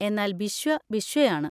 എന്നാൽ ബിശ്വ ബിശ്വയാണ്.